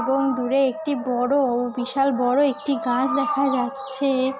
এবং দূরে একটি বড়-ও বিশাল বড় একটি গাছ দেখা যাচ্ছে-এ --